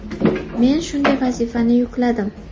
Men shunday vazifani yukladim.